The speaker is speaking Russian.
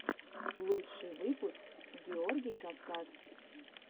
лучший выпуск георгий кавказ